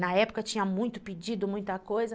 Na época tinha muito pedido, muita coisa.